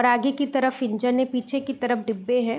और आगे की तरफ इंजन है पीछे की तरफ डिब्बे हैं ।